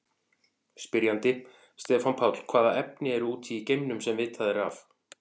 Spyrjandi: Stefán Páll Hvaða efni eru úti í geimnum, sem vitað er af?